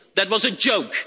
That was a joke.